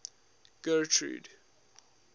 getrude